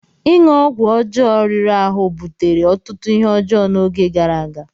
Ịṅụ ọgwụ ọjọọ riri ahụ butere ọtụtụ ihe ọjọọ n'oge gara aga.